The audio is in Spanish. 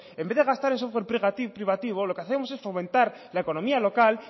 en vez de gastar en software privativo lo que hacemos es fomentar la economía local